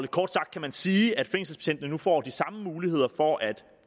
kort sagt kan sige at fængselsbetjentene nu får de samme muligheder for at